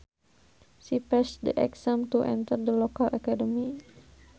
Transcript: She passed the exams to enter the local academy